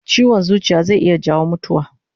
Chiwon zuciya zai iya jawo mutuwa